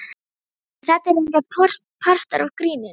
En þetta er reyndar partur af gríninu.